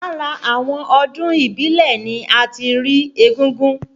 Lára àwọn ọdún ìbílẹ̀ ni a ti rí égúngún